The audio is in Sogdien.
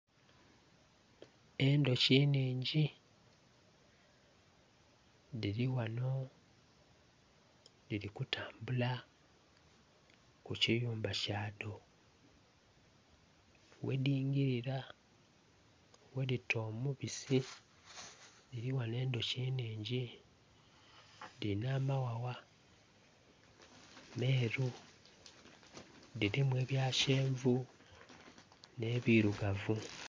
Endhoki nhingi dhiri ghano dhiri kutambula, ku kiyumba kya dho. Ghedhingilira, ghedita omubisi dhiri ghano endhoki nhingi. Dhirina amaghagha meeru, dhirimu ebya kyenvu nh'ebirugavu.